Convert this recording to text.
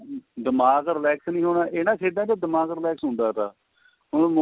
ਦਿਮਾਗ relax ਨੀ ਹੋਣਾ ਇਹਨਾਂ ਖੇਡਾ ਚ ਦਿਮਾਗ relax ਹੁੰਦਾ ਥਾ ਹੁਣ mo